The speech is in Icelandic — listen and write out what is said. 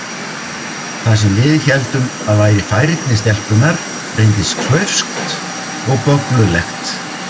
Það sem við héldum að væri færni stelpunnar reyndist klaufskt og bögglulegt.